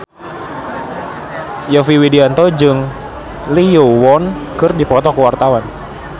Yovie Widianto jeung Lee Yo Won keur dipoto ku wartawan